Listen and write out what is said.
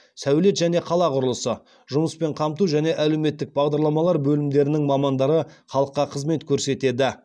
сәулет және қала құрылысы жұмыспен қамту және әлеуметтік бағдарламалар бөлімдерінің мамандары халыққа қызмет көрсетеді